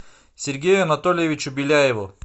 сергею анатольевичу беляеву